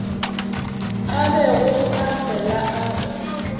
a bego a fela a